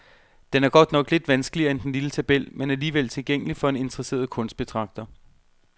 Den er godt nok lidt vanskeligere end den lille tabel, men alligevel tilgængelig for en interesseret kunstbetragter.